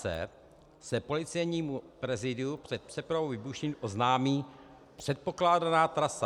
c) se Policejnímu prezídiu před přepravou výbušnin oznámí předpokládaná trasa.